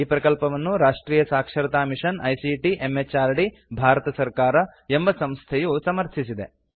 ಈ ಪ್ರಕಲ್ಪವನ್ನು ರಾಷ್ಟ್ರಿಯ ಸಾಕ್ಷರತಾ ಮಿಷನ್ ಐಸಿಟಿ ಎಂಎಚಆರ್ಡಿ ಭಾರತ ಸರ್ಕಾರ ಎಂಬ ಸಂಸ್ಥೆಯು ಸಮರ್ಥಿಸಿದೆ